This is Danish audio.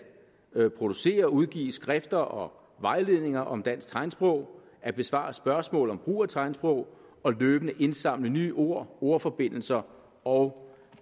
producere og udgive skrifter og vejledninger om dansk tegnsprog at besvare spørgsmål om brug af tegnsprog og løbende indsamle nye ord ordforbindelser og